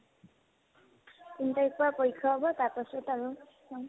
তিন তাৰিখৰ পৰা পৰীক্ষা হ'ব তাৰপাছত আৰু